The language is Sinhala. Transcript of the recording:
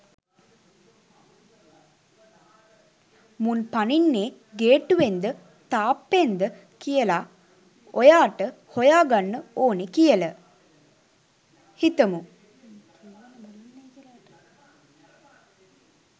මුන් පනින්නේ ගේට්ටුවෙන්ද තාප්පෙන්ද කියල ඔයාට හොයා ගන්න ඕනේ කියල හිතමු.